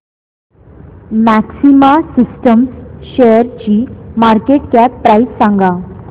maxima systems शेअरची market cap price सांगा